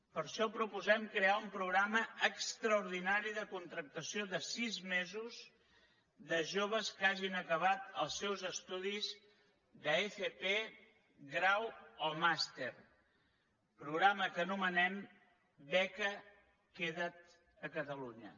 per això proposem crear un programa extraordinari de contractació de sis mesos de joves que hagin acabat els seus estudis d’fp grau o màster programa que anomenem beca queda’t a catalunya